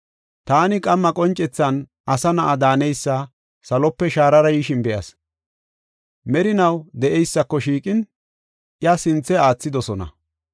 “Taani, qamma qoncethan, asa na7a daaneysi salope shaarara yishin be7as. Merinaw de7eysako shiiqin, iya sinthe aathidosona.